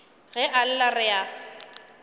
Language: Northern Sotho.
ge a lla re a